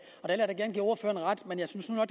og